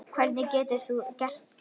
Hvernig getur þú gert það?